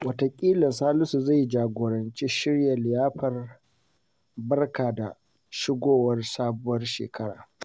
Wataƙila Salisu zai jagoranci shirya liyafar barka da shigowar sabuwar shekara.